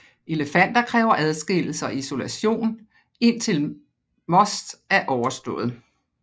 Elefanter kræver adskillelse og isolation indtil must er overstået